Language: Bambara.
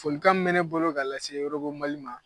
Folikan mun be ne bolo ka lase mali ma